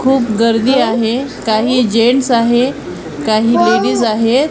खूप गर्दी आहे काही जेंट्स आहे काही लेडीज आहेत.